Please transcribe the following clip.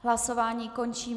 Hlasování končím.